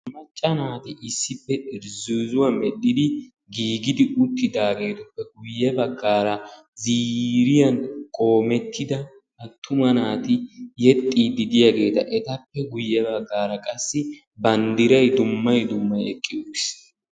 maccaa naati issippe irzzizzuwa medhdhidi giigidi uttidaageetuppe guyye baggaara ziiriyan qoomettida attuma naati yexxiidi diyaageeta etappe guyye baggara qassi banddiray dumma dumma eqqi uttiis.